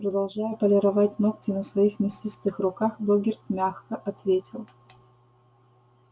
продолжая полировать ногти на своих мясистых руках богерт мягко ответил